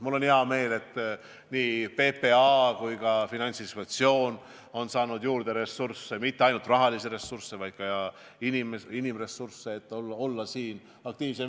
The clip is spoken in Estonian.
Mul on hea meel, et nii PPA kui ka Finantsinspektsioon on saanud juurde ressursse, mitte ainult rahalisi ressursse, vaid ka inimressursse, et olla aktiivsem.